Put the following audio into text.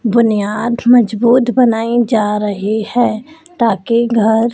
बुनियाद मजबूत बनाई जा रही है ताकि घर--